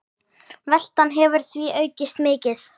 Veltan hefur því aukist mikið.